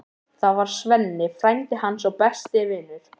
Það var Svenni, frændi hans og besti vinur.